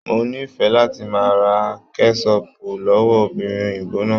Mo ní fẹ láti máa ra kẹsọpu lọwọ obìnrin òyìnbó náà.